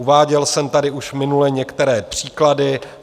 Uváděl jsem tady už minule některé příklady.